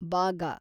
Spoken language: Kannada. ಬಾಗ